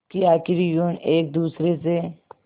कि आखिर यूं एक दूसरे से